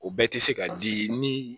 O bɛɛ tɛ se ka di ni